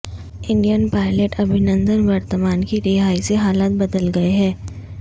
Indian pilot Abhinandan Varthaman کی رہائی سے حالات بدل گئے ہیں